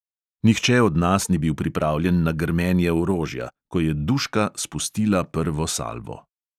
Nihče od nas ni bil pripravljen na grmenje orožja, ko je duška spustila prvo salvo.